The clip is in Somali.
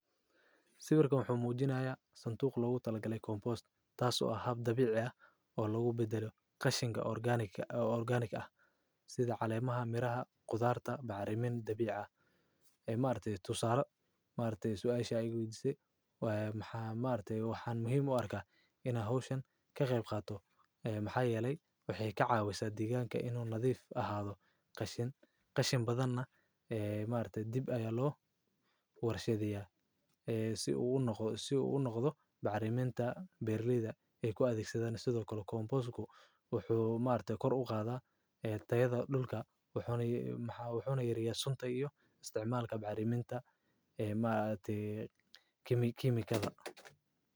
Sawirkan muxu muujinaya suntuuq loogu talgalay koonboost, taasoo ahaab dabiic ah oo loogu beddelo qashinka orgaaniga, orgaanig ah sida caleemaha miraha khudaarta bacrimin dabiic ah maarteys tusaale maarteys way ishaqeydise, waa maxaa maartay wax muhiim u arkay in ahooshin ka qeyb qaato ee maxaa yelay waxeey ka caawisaa deegaanka inuu nadiif ahaado. Qashin qashin badanaa ee maarteys dib ayee loo warshadiyaa ee si uu u noqdo bacarimiinta beerliyada. Ku adeegsadaan sidoo kale koonboosku wuxuu maarteys kor u qaadaa ee tayada dhulka wuxuuna maxaa wuxuuna yaryee sunta iyo isticmaalka bacarimiinta ee maarteey kimi kiimikada.